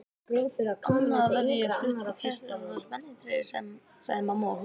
Annars verð ég flutt inn í Kleppsholt í spennitreyju sagði mamma og hló.